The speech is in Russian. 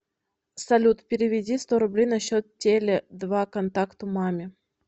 салют переведи сто рублей на счет теле два контакту маме